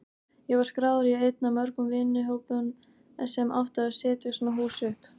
Ég var skráður í einn af mörgum vinnuhópum sem átti að setja svona hús upp.